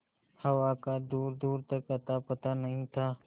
हवा का दूरदूर तक अतापता नहीं था